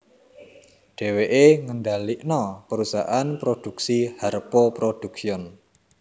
Dhéwéké ngendhalikna perusahaan prodhuksi Harpo Production